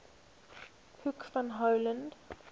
hoek van holland